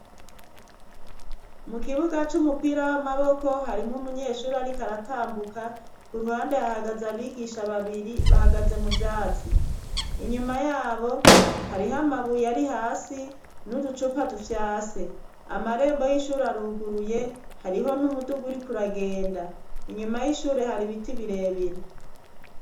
Mu kibuga c'umupira w'amaboko harimwo umunyeshuri, ariko aratambuka ku ruhande hahagaze abigisha babiri bahagaze mu vyatsi inyuma yabo hariho amabuye ari hasi n'uducupa dufyase amarembo y'ishuri aruguruye hariho n'umuduguri kuragenda nyuma y'ishure hari ibiti birebire.